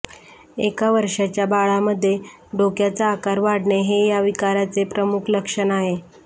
एक वर्षाच्या बाळामध्ये डोक्याचा आकार वाढणे हे या विकाराचे प्रमुख लक्षण आहे